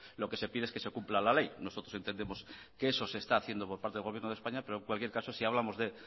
lo que se pide es que se cumpla la ley nosotros entendemos que eso se está haciendo por parte del gobierno de españa pero en cualquier caso si hablamos de